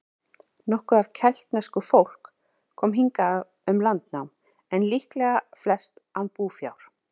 Nokkuð af keltnesku fólk kom hingað um landnám, en líklega flest án búfjár.